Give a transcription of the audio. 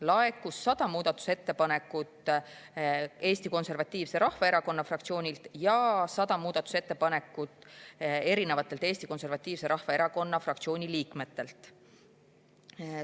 Laekus 100 muudatusettepanekut Eesti Konservatiivse Rahvaerakonna fraktsioonilt ja 100 muudatusettepanekut Eesti Konservatiivse Rahvaerakonna fraktsiooni liikmetelt.